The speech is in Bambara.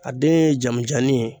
A den ye janmanjannin ye